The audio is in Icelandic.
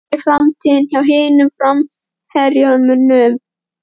Hver er framtíðin hjá hinum framherjunum?